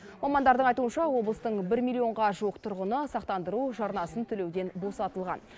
мамандардың айтуынша облыстың бір миллионға жуық тұрғыны сақтандыру жарнасын төлеуден босатылған